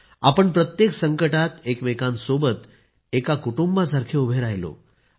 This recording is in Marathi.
आपण प्रत्येक संकटात एकमेकांसोबत एका कुटुंबासारखे उभे राहिलो